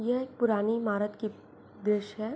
ये एक पुरानी ईमारत की दृश्य है।